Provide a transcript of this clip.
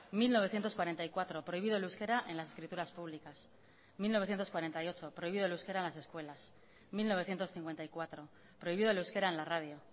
mil novecientos cuarenta y cuatro prohibido el euskera en las escrituras públicas mil novecientos cuarenta y ocho prohibido el euskera en las escuelas mil novecientos cincuenta y cuatro prohibido el euskera en la radio